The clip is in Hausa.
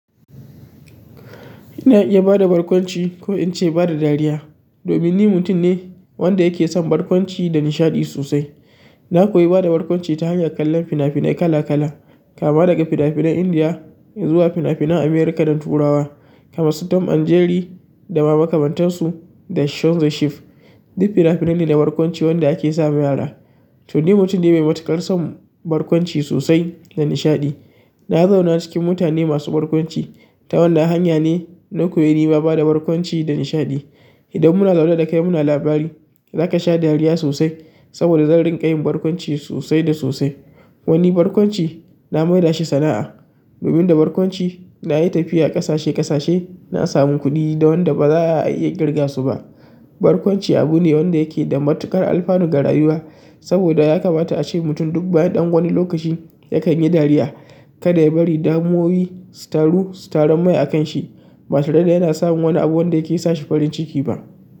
Ina iya ba da barkwanci ko in ce ba da dariya domin ni mutum ne wanda yake son barkwanci da nishaɗi sosai. Na koyi ba da barkwanci ta hanyar kallon fina-finai kala kala, kama daga fina-finan India zuwa fina-finan Amirika da turawa kamar su Tom and Jerry da mamakantansu da Show da Sheep. Duk fina-finai ne na barkwanci wanda ake ma mayara. To, ni mutum ne mai matuƙar son barkwanci sosai da nishaɗi. Na zauna cikin mutane masu barkwanci. Ta wannan hanya ne na koyi ni ma ba da barkwanci da nishaɗi. Idan muna zaune dakai muna labari zaka sha dariya sosai saboda zan rinƙa yin barkwanci sosai da sosai. Wani barkwanci na mai da shi sana'a. Domin da barkwanci na yi tafiya ƙasashe ƙasashe, na samu kuɗi da wanda ba za a iya ƙirga su ba. Barkwanci abu ne wanda yake da matuƙar alfanu ga rayuwa saboda yakamata ace mutum duk bayan dan wani lokaci yakanyi dariya kada yabari damuwoyi su taru su tarumai akanshi ba tare da yana samun wani abu wanda yake sa shi farin ciki ba.